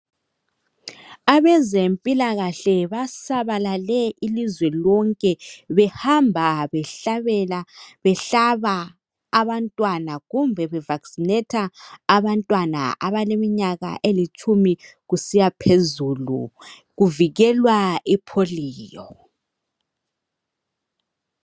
Abezempilakahle basabalale ilizwe lonke behamba behlabela, behlaba abantwana kumbe be vaccinatha abantwana abaleminyaka elitshumi kusiya phezulu kuvikelwa ipolio.